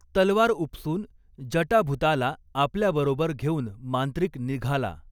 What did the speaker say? तलवार उपसून जटाभुताला आपल्या बरोबर घेऊन मांत्रिक निघाला.